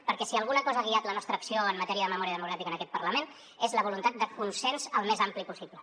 perquè si alguna cosa ha guiat la nostra acció en matèria de memòria democràtica en aquest parlament és la voluntat de consens el més ampli possible